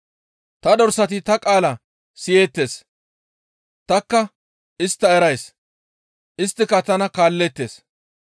Ta dorsati ta qaala siyeettes. Tanikka istta erays; isttika tana kaalleettes.